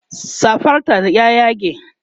safar ta ya yage